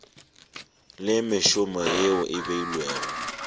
le mešomo yeo e beilwego